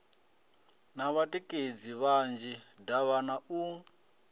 na vhatikedzi vhanzhi davhana u